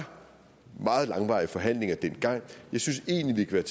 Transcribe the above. meget langvarige forhandlinger dengang jeg synes egentlig vi kan